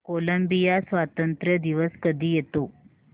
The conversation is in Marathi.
कोलंबिया स्वातंत्र्य दिवस कधी येतो